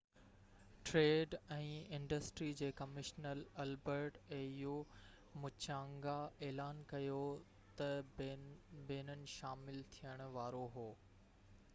au trade ۽ industry جي commissioner Albert Muchanga اعلان ڪيو ته بينن شامل ٿيڻ وارو هو